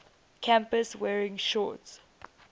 campus wearing shorts